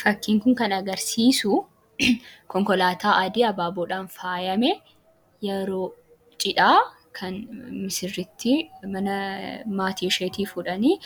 Fakkiin kun kan agarsiisuu konkolaataa adii abaaboon faayamee, yeroo cidhaa kan misirrittii mana maatisheeti fuudhanii